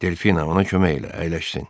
Delfina ona kömək elə, əyləşsin.